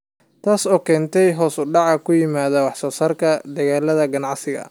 Taas oo keentay hoos u dhac ku yimid wax soo saarka dalagga ganacsiga.